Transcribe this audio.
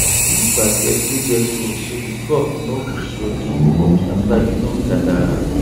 use basket wey get hole so the crop no go sweat too much after you don gather am